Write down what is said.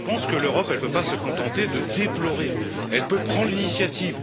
Je pense que l'Europe ne peut pas se contenter de déplorer, elle peut prendre l'initiative.